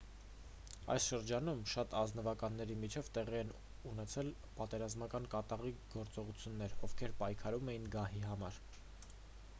այս շրջանում շատ ազնվականների միջև տեղի են ունեցել պատերազմական կատաղի գործողություններ ովքեր պայքարում էին գահի համար